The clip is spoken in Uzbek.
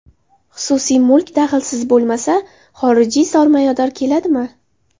Xususiy mulk daxlsiz bo‘lmasa, xorijiy sarmoyador keladimi?